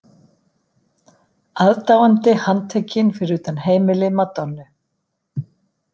Aðdáandi handtekinn fyrir utan heimili Madonnu